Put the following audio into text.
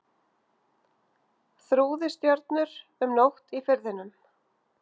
Þrúði stjörnur um nótt í Firðinum.